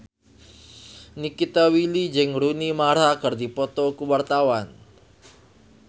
Nikita Willy jeung Rooney Mara keur dipoto ku wartawan